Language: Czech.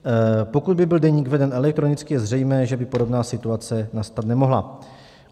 Pokud by byl deník veden elektronicky, je zřejmé, že by podobná situace nastat nemohla.